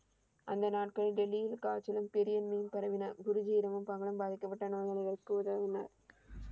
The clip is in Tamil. அந்த நாட்களில் டெல்லியில் காய்ச்சலும் பெரிய நோய் பரவின. குருஜி பாதிக்கப்பட்ட நோயாளிகளுக்கு உதவினர்.